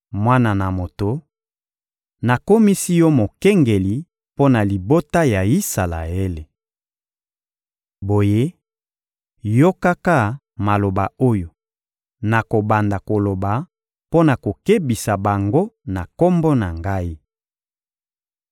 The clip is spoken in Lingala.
Mwana na moto, nakomisi yo mokengeli mpo na libota ya Isalaele. Boye, yokaka maloba oyo nakobanda koloba mpo na kokebisa bango na Kombo na Ngai.